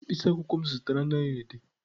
Mkpịsị akwụkwọ m zụtara anaghị ede.